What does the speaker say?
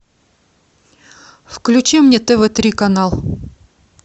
включи мне тв три канал